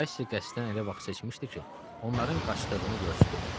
Kaşşi qəsdən elə vaxt seçmişdi ki, onların qaçdığını görsünlər.